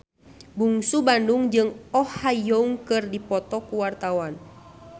Bungsu Bandung jeung Oh Ha Young keur dipoto ku wartawan